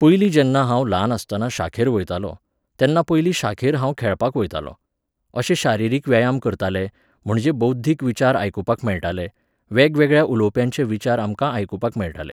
पयलीं जेन्ना हांव ल्हान आसतना शाखेर वयतालों, तेन्ना पयलीं शाखेर हांव खेळपाक वयतालों. अशे शारिरीक व्यायाम करताले, म्हणजे बौध्दीक विचार आयकुपाक मेळटाले, वेगवेगळ्या उलोवप्यांचे विचार आमकां आयकुपाक मेळटाले